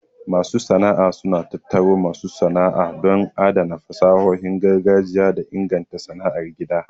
Masu sana'a suna tattaro masu sana'a don adana fasahohin gargajiya da inganta sana'ar gida.